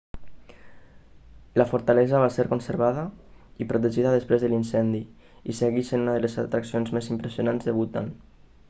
la fortalesa va ser conservada i protegida després de l'incendi i segueix sent una de les atraccions més impressionants del bhutan